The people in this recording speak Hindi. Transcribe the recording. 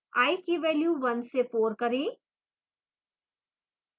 i की value 1 से 4 करें